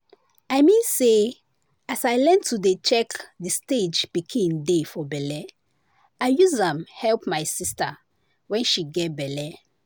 i mean say as i learn to dey check the stage pikin dey for belle i use am help my sister wen she get belle